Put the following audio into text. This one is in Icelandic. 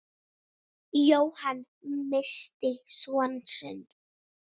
Jóhann missti son sinn.